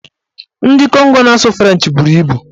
Ndị Kongo na-asụ frenchị bụrụ ibu.